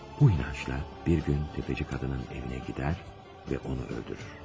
Bu inancla bir gün təfəci qadının evinə gedər və onu öldürür.